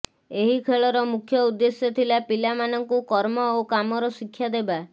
ଏହି ଖେଳର ମୁଖ୍ୟ ଉଦ୍ଦେଶ୍ୟ ଥିଲା ପିଲାମାନଙ୍କୁ କର୍ମ ଓ କାମର ଶିକ୍ଷା ଦେବା